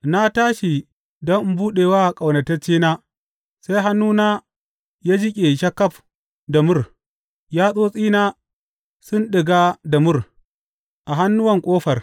Na tashi don in buɗe wa ƙaunataccena, sai hannuna ya jiƙe sharkaf da mur, yatsotsina suna ɗiga da mur, a hannuwan ƙofar.